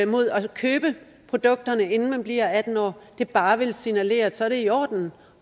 mod at købe produkterne inden man bliver atten år bare vil signalere at det så er i orden